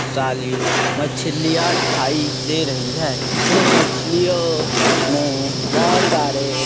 साले मछलियां दिखाई दे रही है इन मछलियों में बहोत सारे--